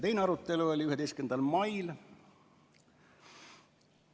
Teine arutelu toimus 11. mail.